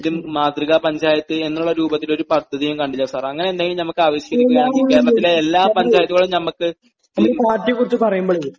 ഒരു മാതൃകാ പഞ്ചായത്ത് എന്നുള്ള രൂപത്തിൽ ഒരു പദ്ധതി ഞാൻ കണ്ടില്ല സാർ, അങ്ങനെയെന്തെങ്കിലും നമുക്ക് ആവിഷ്കരിക്കുകയാണെങ്കിൽ കേരളത്തിലെ എല്ലാ പഞ്ചായത്തുകളും നമുക്ക്...